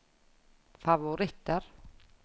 favoritter